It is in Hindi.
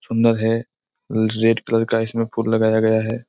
सुंदर है। रेड कलर का इसमें फूल लगाया गया है।